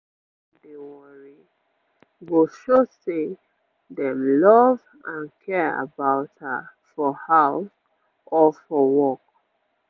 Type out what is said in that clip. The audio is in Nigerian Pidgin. make dem her no dey worry go show say dem love and care about her for house or for work